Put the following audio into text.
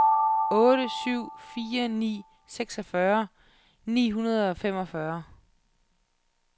otte syv fire ni seksogfyrre ni hundrede og femogfyrre